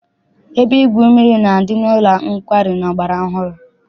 Ebe igwu mmiri na-adị n'ụlọ nkwari ọgbara ọhụrụ.